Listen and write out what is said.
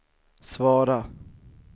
svara